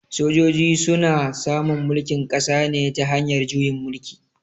Sojoji su na samun mulkin ƙasa ne ta hanyar juyin mulki.